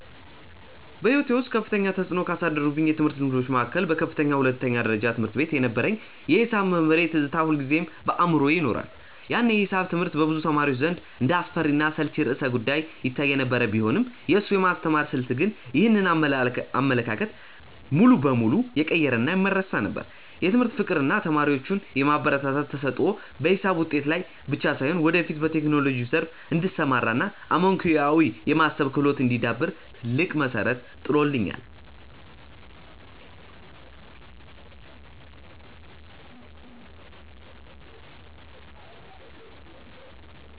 በሕይወቴ ውስጥ ከፍተኛ ተፅዕኖ ካሳደሩብኝ የትምህርት ልምዶች መካከል በከፍተኛ ሁለተኛ ደረጃ ትምህርት ቤት የነበረኝ የሒሳብ መምህሬ ትዝታ ሁልጊዜም በአእምሮዬ ይኖራል። ያኔ ሒሳብ ትምህርት በብዙ ተማሪዎች ዘንድ እንደ አስፈሪና አሰልቺ ርዕሰ-ጉዳይ ይታይ የነበረ ቢሆንም፣ የእሱ የማስተማር ስልት ግን ይህንን አመለካከት ሙሉ በሙሉ የቀየረና የማይረሳ ነበር። የትምህርት ፍቅር እና ተማሪዎቹን የማበረታታት ተሰጥኦ በሒሳብ ውጤቴ ላይ ብቻ ሳይሆን፣ ወደፊት በቴክኖሎጂው ዘርፍ እንድሰማራ እና አመክንዮአዊ የማሰብ ክህሎቴ እንዲዳብር ትልቅ መሠረት ጥሎልኛል።